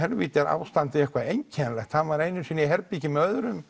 ástandið væri eitthvað einkennilegt hann var einu sinni í herbergi með öðrum